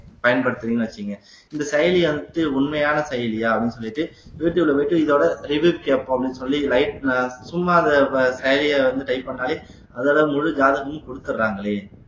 பயன்படுத்தறீங்கன்னு வச்சுக்கங்க இந்த செயலி வந்து உண்மையான செயலியா அப்படின்னு சொல்லிட்டு யூ ட்யூப்ல போயிட்டு இதோட reviews கேட்போம் அப்படின்னு சொல்லி சும்மா அந்த செயலியை வந்து type பண்ணாலே அதுல முழு ஜாதகமும் குடுத்துடுறாங்களே